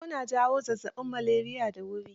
Sauro na jawa zazzaɓin maleriya da wuri.